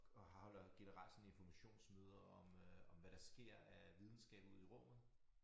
Og holder generelle sådan informationsmøder om øh om hvad der sker af videnskab ude i rummet